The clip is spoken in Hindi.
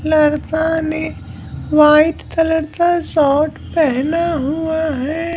लरता ने वाइट कलर का शॉर्ट पहना हुआ है।